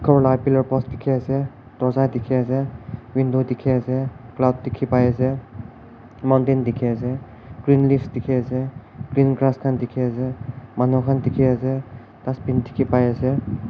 for laga pillar post dekhi ase doza dekhi ase cloud dekhi pai ase mountent dekhi ase green leaf dekhi ase green grass khan dekhi ase manu khan dekhi ase dustbin dekhi pai ase.